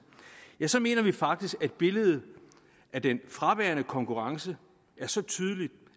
ja så mener vi faktisk at billedet af den fraværende konkurrence er så tydeligt